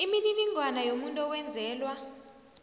imininingwana yomuntu owenzelwa